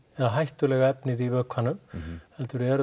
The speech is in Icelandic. eða hættulega efnið í vökvanum heldur eru